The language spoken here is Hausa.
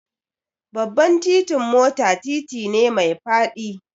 Babban titin mota titi ne mai faɗi